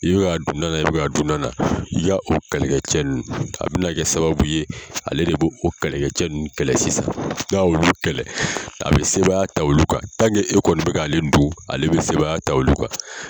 I bi ka dun nan na, i bi ka dun nan na, i ka o kɛlɛkɛ cɛ ninnu a bina kɛ sababu ye ale de b'o o kɛlɛkɛ cɛ ninnu kɛlɛ sisan, n'a y'olu kɛlɛ a bi sebaya ta olu kan e kɔni bi ka ale dun a bi sebaya ta olu kan.